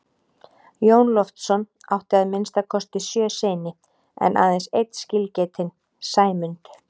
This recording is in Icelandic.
Jón Loftsson átti að minnsta kosti sjö syni en aðeins einn skilgetinn, Sæmund.